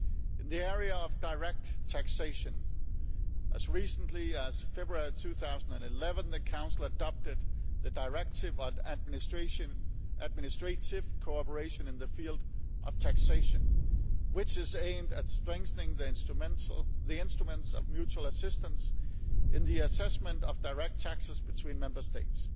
In the area of direct taxation, as recently as February 2011 the Council adopted the Directive on administrative cooperation in the field of taxation, which is aimed at strengthening the instruments of mutual assistance in the assessment of direct taxes between Member States.